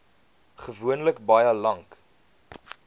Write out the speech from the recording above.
gewoonlik baie lank